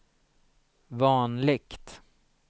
vanligt